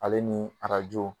Ale ni arajo